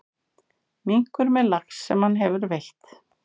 Minkur með lax sem hann hefur veitt.